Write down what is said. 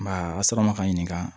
Basa ma ka ɲininka